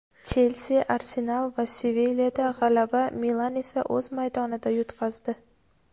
"Chelsi", "Arsenal" va "Sevilya"da g‘alaba, "Milan" esa o‘z maydonida yutqazdi.